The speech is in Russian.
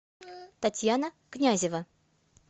татьяна князева